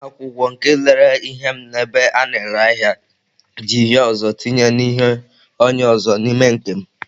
Onye na-akwụ ụgwọ nke lere ihe m n'ebe a na-ere ahịa ji hie ụzọ tinye ihe onye ọzọ n'ime nke m